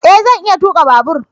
E! Zan iya tuka babur.